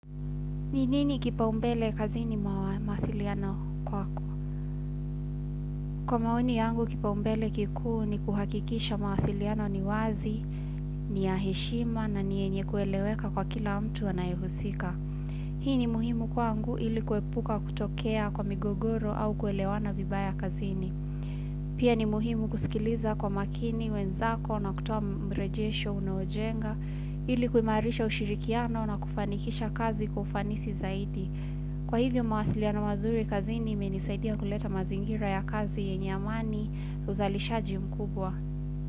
Ni nini kipaumbele kazini mwa mawasiliano kwako? Kwa maoni yangu kipaumbele kikuu ni kuhakikisha mawasiliano ni wazi, ni ya heshima na ni yenye kueleweka kwa kila mtu anayehusika. Hii ni muhimu kwangu ili kuepuka kutokea kwa migogoro au kuelewana vibaya kazini. Pia ni muhimu kusikiliza kwa makini, wenzako, na kutoa mrejesho, unaojenga, ili kuimarisha ushirikiano na kufanikisha kazi kwa ufanisi zaidi. Kwa hivyo mawasiliana mazuri kazini imenisaidia kuleta mazingira ya kazi yenye amani uzalishaji mkubwa.